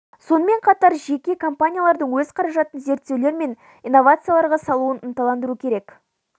сонымен қатар жеке компаниялардың өз қаражатын зерттеулер мен инновацияларға салуын ынталандыру керек